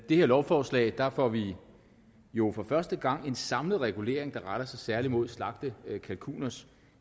det her lovforslag får vi jo for første gang en samlet regulering der retter sig særlig mod slagtekalkuners